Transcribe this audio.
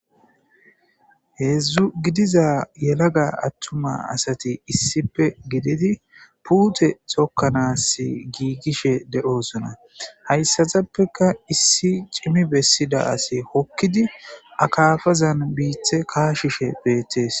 Hezzu giddiza yelaga attuma asati issippe giddidi puute tokkanassi giigishe de'oosona. Hayssatappeeka issi cimi bessedda asikka hoqqidi akafazan biiththa kashishe be'ettees.